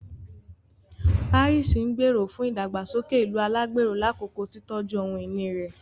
Paris ngbero fún ìdàgbàsókè ìlú alagbero lakoko titọju ohun-ìní rẹ